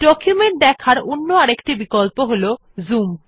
document দেখার অন্য একটি বিকল্প হল জুম